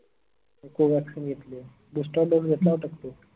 मी Covaxin घेतलीय boosterdose घेतला होता का तू?